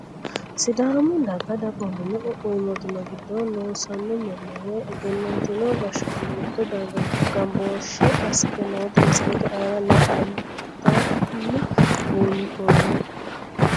Sidaami daga dagoominna qoqqowu mootimma giddo losano mani woyi egenantino gashaano mitto darga ganbooshe asite noota misilete aana la`ateni buunxomo.